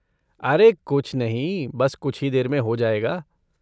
अरे कुछ नहीं, बस कुछ ही देर में हो जाएगा।